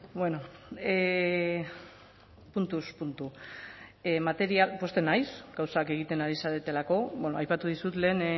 bueno puntuz puntu pozten naiz gauzak egiten ari zaretelako aipatu dizut lehen